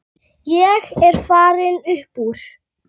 Ég er farinn upp úr.